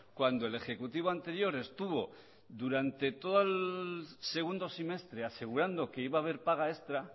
cuando el ejecutivo anterior estuvo durante todo el segundo semestre asegurando que iba a haber paga extra